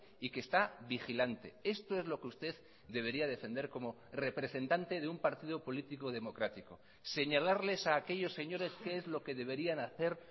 y que está vigilante esto es lo que usted debería defender como representante de un partido político democrático señalarles a aquellos señores qué es lo que deberían hacer